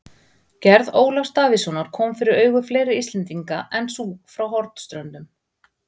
Gerð Ólafs Davíðssonar kom fyrir augu fleiri Íslendinga en sú frá Hornströndum.